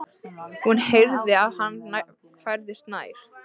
Hún heyrði að hann færðist nær.